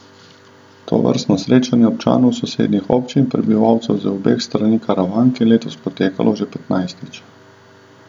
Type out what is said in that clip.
Tovrstno srečanje občanov sosednjih občin, prebivalcev z obeh strani Karavank, je letos potekalo že petnajstič.